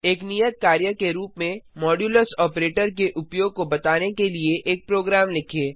एक नियत कार्य के रूप में मॉड्यूलस ऑपरेटर के उपयोग को बताने के लिए एक प्रोग्राम लिखें